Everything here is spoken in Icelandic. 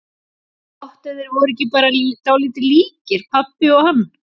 Gott ef þeir voru ekki bara dálítið líkir, pabbi og hann.